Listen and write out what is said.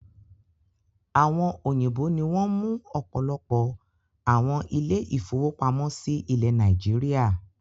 Àwọn òyìnbó ní wọn mú ọpọlọpọ àwọn ile-ìfowópamó sí ilé Nàìjíríà